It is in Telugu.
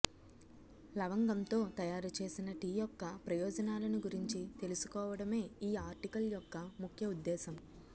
లవంగంతో తయారుచేసిన టీ యొక్క ప్రయోజనాలను గురించి తెలుసుకోవడమే ఈ ఆర్టికల్ యొక్క ముఖ్య ఉద్దేశ్యం